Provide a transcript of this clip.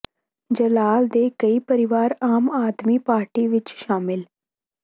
ਜਲਾਲ ਦੇ ਕਈ ਪਰਿਵਾਰ ਆਮ ਆਦਮੀ ਪਾਰਟੀ ਵਿੱਚ ਸ਼ਾਮਲ